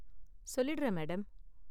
சொல்லிடுறேன், மேடம்.